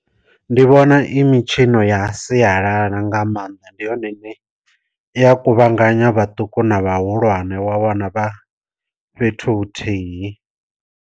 Ndi vhona i mitshino ya sialala nga maanḓa ndi yone ine iya kuvhanganya vhaṱuku na vhahulwane wa wana vha fhethu huthihi.